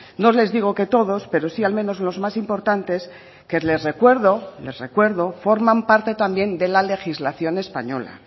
no les digo que todos pero si al menos los más importantes que les recuerdo les recuerdo forman parte también de la legislación española